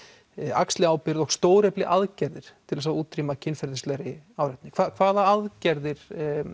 axli ábyrgð og aðgerðir til að útrýma kynferðislegri áreitni hvaða aðgerðir